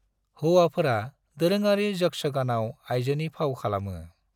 हौवाफोरा दोरोङारि यक्षगानाव आइजोनि फाव खालामो।